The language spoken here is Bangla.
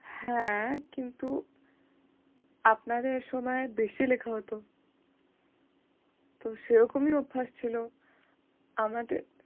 হ্যাঁ, কিন্তু আপনাদের সময় বেশি লেখা হত। তো সেরকমই অভ্যাস ছিল। আমাদের